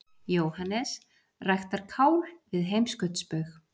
JÓHANNES: Ræktar kál við heimskautsbaug!